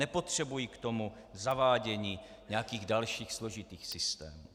Nepotřebují k tomu zavádění nějakých dalších složitých systémů.